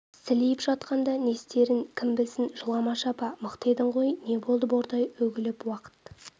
сілейіп жатқанда не істейтіндерін кім білсін жыламашы апа мықты едің ғой не болды бордай үгіліп уақыт